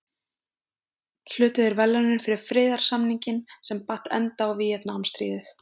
Hlutu þeir verðlaunin fyrir friðarsamninginn sem batt enda á Víetnamstríðið.